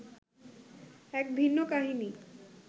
এক ভিন্ন কাহিনি